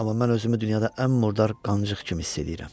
amma mən özümü dünyada ən murdar qancıq kimi hiss eləyirəm.